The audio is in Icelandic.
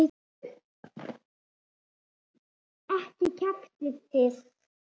Ekki kjaftið þið.